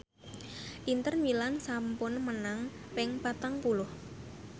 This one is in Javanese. Inter Milan sampun menang ping patang puluh